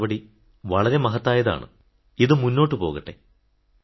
ഈ നടപടി വളരെ മഹത്തായതാണ് ഇത് മുന്നോട്ടു പോകട്ടെ